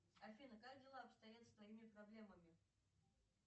афина как дела обстоят с твоими проблемами